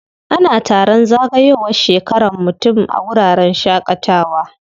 Ana taron zagayowar shekaran mutum a wuraren shaƙatawa.